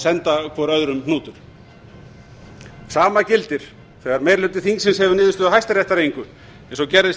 senda hvor erum hnútur sama gildir þegar meiri hluti þingsins hefur niðurstöðu hæstaréttar að engu eins og gerðist í